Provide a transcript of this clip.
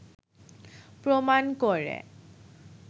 প্রমাণ করে